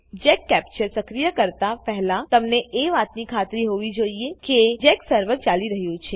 Jack capture સક્રિય કરતા પહેલાતમને એ વાતની ખાતરી હોવી જોઈએ કે જેક સર્વર ચાલી રહ્યું છે